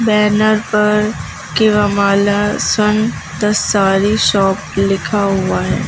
Banner पर sun the sari shop लिखा हुआ हैं।